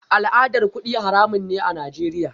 Al'adar kudi haramun ne a Najeriya